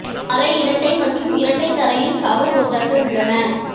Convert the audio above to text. அரை இரட்டை மற்றும் இரட்டை தரையில் கவர் ரோஜாக்கள் உள்ளன